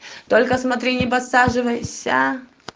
только смотри не подсаживайся